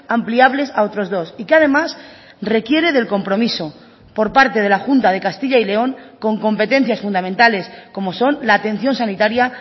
ampliables a otros dos y que además requiere del compromiso por parte de la junta de castilla y león con competencias fundamentales como son la atención sanitaria